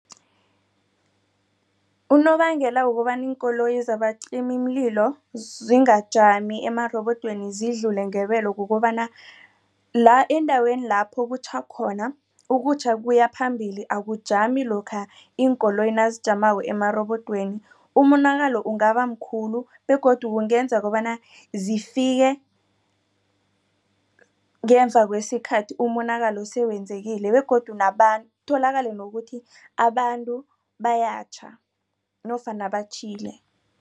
Unobangela wokobana iinkoloyi zabacimimlilo zingajami emarobodweni zidlule ngebelo kukobana la endaweni lapho kutjha khona ukutjha kuyaphambili akujami lokha iinkoloyi nazijamako emarobodweni. Umonakalo ungabamkhulu begodu kungenza kobana zifike ngemva kwesikhathi umonakalo sewenzekile begodu nabantu kutholakale nokuthi abantu bayatjha nofana batjhile.